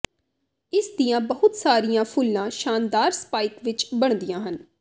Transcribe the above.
ਇਸ ਦੀਆਂ ਬਹੁਤ ਸਾਰੀਆਂ ਫੁੱਲਾਂ ਸ਼ਾਨਦਾਰ ਸਪਾਈਕ ਵਿੱਚ ਬਣਦੀਆਂ ਹਨ